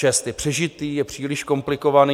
Je přežitý, je příliš komplikovaný.